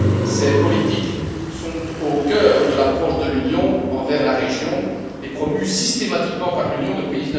Ces politiques sont au cœur de l'approche de l'Union envers la région et sont promues systématiquement par l'Union depuis